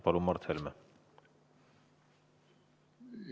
Palun, Mart Helme!